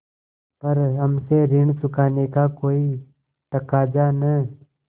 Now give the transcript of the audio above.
पर हमसे ऋण चुकाने का कोई तकाजा न